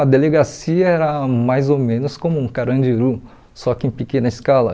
A delegacia era mais ou menos como um carandiru, só que em pequena escala.